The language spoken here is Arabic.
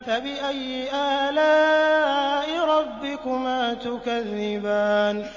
فَبِأَيِّ آلَاءِ رَبِّكُمَا تُكَذِّبَانِ